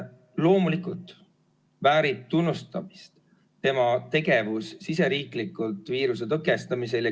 Loomulikult väärib tunnustamist tema tegevus siseriiklikult viiruse tõkestamisel.